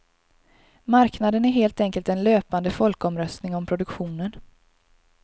Marknaden är helt enkelt en löpande folkomröstning om produktionen.